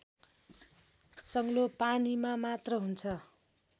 सङ्लो पानीमा मात्र हुन्छ